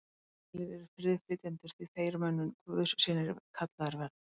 Sælir eru friðflytjendur, því að þeir munu guðs synir kallaðir verða.